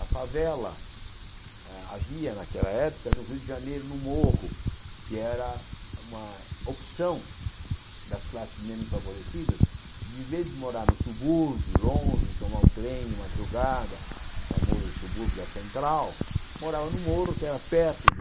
A favela ah havia, naquela época, no Rio de Janeiro, no Morro, que era uma opção das classes menos favorecidas, de, em vez de morar no subúrbio, longe, tomar o trem de madrugada, o famoso subúrbio da Central, morava no Morro, que era perto do